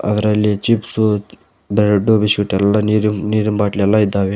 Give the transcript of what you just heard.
ಅದ್ರಲ್ಲಿ chips bread biscuit ಎಲ್ಲಾ ನೀರಿನ್ ನೀರಿನ್ ಬಾಟಲ್ ಎಲ್ಲಾ ಇದ್ದಾವೆ.